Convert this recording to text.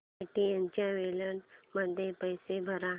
Paytm wallet मध्ये पैसे भर